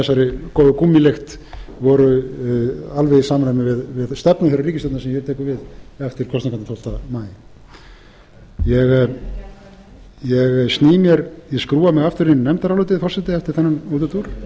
þessari góðu gúmmílykt voru alveg í samræmi við stefnu þeirrar ríkisstjórnar sem hér tekur við eftir kosningarnar tólfta maí ég skrúfa mig aftur inn í nefndarálitið forseti eftir